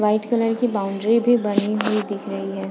White colour की बाउंड्री भी बनी हुई है।